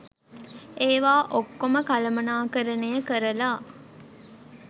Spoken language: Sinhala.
ඒවා ඔක්කොම කළමණාකරණය කරලා